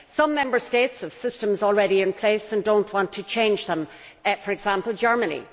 Some Member States have systems already in place and do not want to change them, for example Germany.